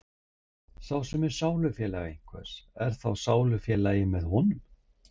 Sá sem er sálufélagi einhvers er þá í sálufélagi með honum.